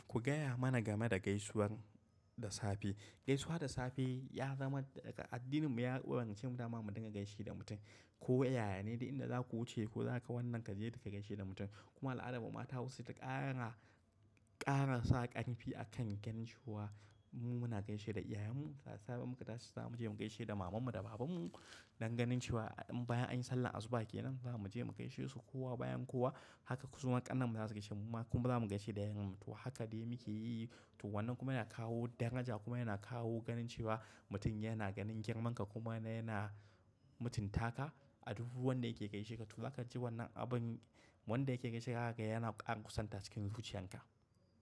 Ku gaya mana game da gaisuwar da safe. Gaisuwa da safe ya zama daga addinin mu ya umurce mu dama mu dinga gaishe da mutum. Ko yaya ne da inda zaku wuce ko zaka wanan gaje, ka gaishe da mutum. Kuma al'adan mu matamu saita ƙara, ƙara sa ƙarfi akan ganin cewa. Mu muna gaishe da iyayenmu, da safe in muka tashi za mu je mu gaishe da mamanmu da babanmu. Danganin cewa in bayan an yi sallar asuba kenan za mu je mu gaishe su kowa bayan kowa. Haka suma ƙannen mu za su gaishe mu kuma za mu gaishe da yayan mu. To haka dai muke yi. To wannan kuma yana kawo daraja kuma yana kawo ganin cewa mutum yana ganin girman ka kuma yana, yana mutuntaka. A duk wanda yake gaishe ka. To za ka ji wannan abun, wanda yake gaishe ka yana ƙara kusantar cikin zuciyan ka.